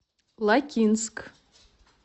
лакинск